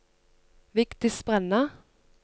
Vigdis Brenna